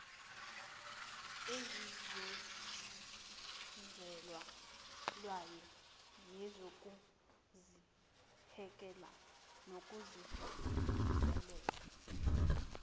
ezizenzelayo nezokuzibheka nokuzilungisela